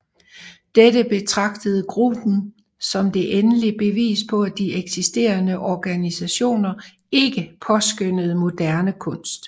Dette betragtede gruppen som det endelige bevis på at de eksisterende organisationer ikke påskønnede moderne kunst